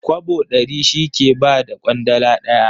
Kwabo ɗari shi ke ba da ƙwandala ɗaya.